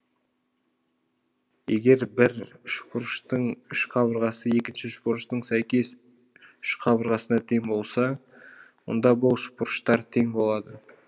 егер бір үшбұрыштың үш қабырғасы екінші үшбұрыштың сәйкес үш қабырғасына тең болса онда бұл үшбұрыштар тең болады